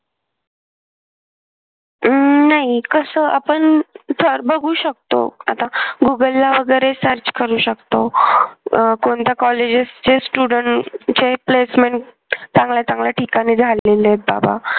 अं नाही कस आपण तर बघू शकतो आता गुगल ला वगैरे search करू शकतो. अह कोणत्या कॉलेजेसचे student चे placement चांगल्या चांगल्या ठिकाणी झालेले आहेत बाबा